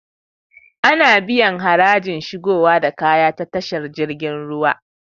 Ana biyan harajin shigowa da kaya ta tashar jirgin ruwa